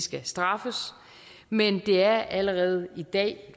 skal straffes men det er allerede i dag